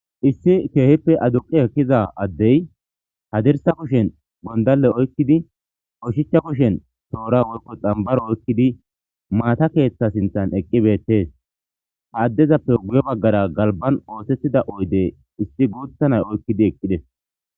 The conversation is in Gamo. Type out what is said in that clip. Issi keehippe aduqi ekkiza addey hadirsa kushen gondalle oykkidi qoshicha kushen toora woykko xambaro oykkidi maata keeththa sinthan eqqibeettees ha addezappe guye baggara galban oosettida oyde issi guuthanay oykkidi eqqides.